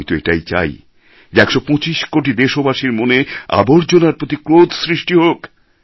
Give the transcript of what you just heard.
আমি তো এটাই চাই যে ১২৫ কোটি দেশবাসীর মনে আবর্জনার প্রতি ক্রোধ সৃষ্টি হোক